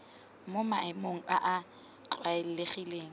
mo maemong a a tlwaelegileng